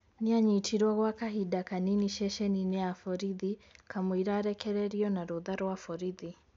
Nĩanyitirwo gwa kahinda kanini ceceni-ini ya borithi kamwira arekerĩrio na rũtha rwa borithi.